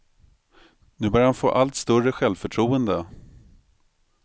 Nu börjar han få allt större självförtroende.